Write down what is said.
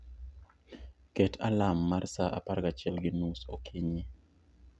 Ket alam mar sa 11:30 okinyi